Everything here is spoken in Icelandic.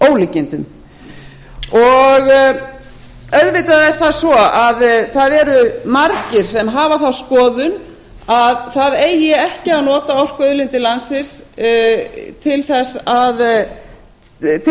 ólíkindum auðvitað er það svo að það eru margir sem hafa þá skoðun að það eigi ekki að nota orkuauðlindir landsins til